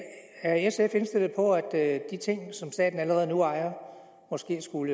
er sf indstillet på at de ting som staten allerede nu ejer måske skulle